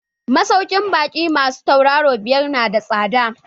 Masaukin baƙi masu tauraro biyar nada tsada.